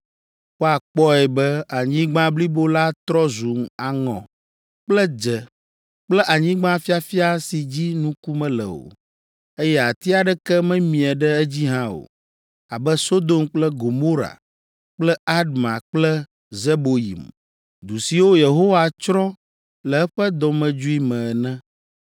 Woakpɔe be anyigba blibo la trɔ zu aŋɔ kple dze kple anyigba fiafia si dzi nuku mele o, eye ati aɖeke memie ɖe edzi hã o, abe Sodom kple Gomora kple Adma kple Zeboyim, du siwo Yehowa tsrɔ̃ le eƒe dɔmedzoe me ene.